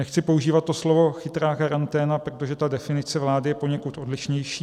Nechci používat to slovo chytrá karanténa, protože ta definice vlády je poněkud odlišnější.